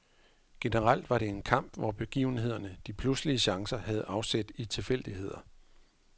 Generelt var det en kamp, hvor begivenhederne, de pludselige chancer, havde afsæt i tilfældigheder.